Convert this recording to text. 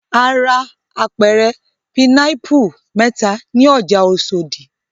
A ra apẹ̀rẹ̀ pinápù mẹ́ta ní ọjà Oṣòdì.